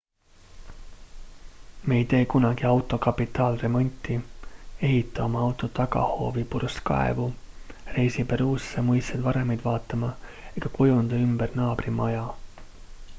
me ei tee kunagi auto kapitaalremonti ehita oma tagahoovi purskkaevu reisi peruusse muistseid varemeid vaatama ega kujunda ümber naabri maja